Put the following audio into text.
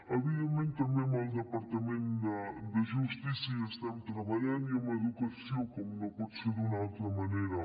evidentment també amb el departament de justícia estem treballant i amb educació com no pot ser d’una altra manera